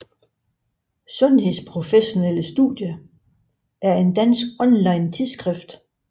Sundhedsprofessionelle Studier er et dansk online tidsskrift